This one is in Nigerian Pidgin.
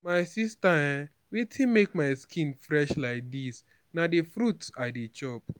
my sister um wetin make my skin fresh like dis na the fruit i dey chop